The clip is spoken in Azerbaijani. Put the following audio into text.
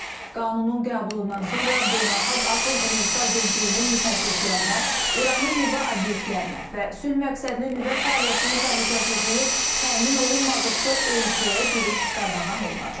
Qanunun qəbulundan sonra Beynəlxalq Atom Enerjisi Agentliyinin müfəttişlərinə, İranın nüvə obyektlərinə və sülh məqsədli nüvə fəaliyyətinin təhlükəsizliyi təmin olunmadıqca ölkəyə giriş qadağan olunacaq.